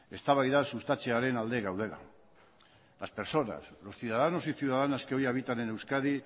eztabaida sustatzearen alde gaudela las persona los ciudadanos y ciudadanas que hoy habitan en euskadi